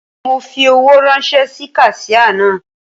Mo fi owó ráńṣẹ́ sí kaṣíà náà.